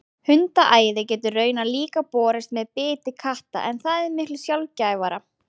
Hundaæði getur raunar líka borist með biti katta en það er miklu sjaldgæfara.